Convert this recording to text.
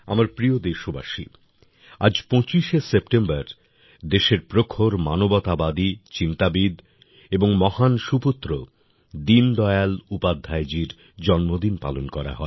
আমার প্রিয় দেশবাসী আজ ২৫শে সেপ্টেম্বর দেশের প্রখর মানবতাবাদী চিন্তাবিদ এবং মহান সুপুত্র দীনদয়াল উপাধ্যায়জীর জন্মদিন পালন করা হয়